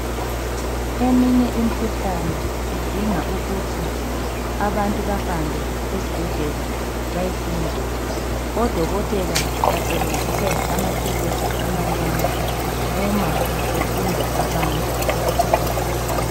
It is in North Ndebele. Eminye imkhuhlane idinga ukuthi abantu bahambe esibhedlela bayehlinzwa odokotela basebenzisa amathulusi amancane uma behlinza abantu.